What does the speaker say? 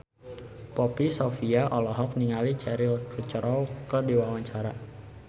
Poppy Sovia olohok ningali Cheryl Crow keur diwawancara